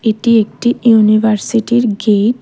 এটি একটি ইউনিভার্সিটির গেট ।